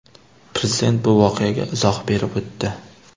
Prezident bu voqeaga izoh berib o‘tdi.